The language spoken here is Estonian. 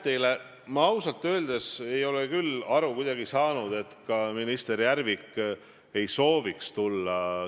Teie suust on tulnud erinevaid ütlemisi ja ka teie isa suust on tulnud erinevaid ütlemisi Eesti kohtusüsteemi kohta.